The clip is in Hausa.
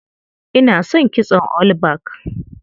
Ina son kitson all back.